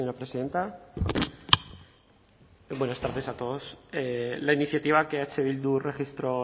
presidenta buenas tardes a todos la iniciativa que eh bildu registró